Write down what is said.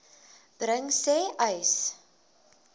bring sê uys